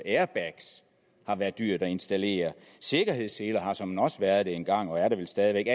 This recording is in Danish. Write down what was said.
airbags har været dyre at installere og sikkerhedsseler har såmænd også været det engang og er det vel stadigvæk